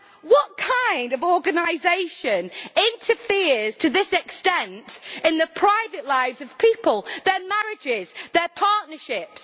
What kind of organisation interferes to this extent in the private lives of people, their marriages and their partnerships?